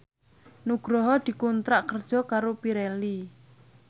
Nugroho dikontrak kerja karo Pirelli